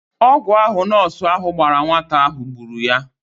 Ọgwụ ahụ nọọsụ ahụ gbara nwata ahụ gburu ya.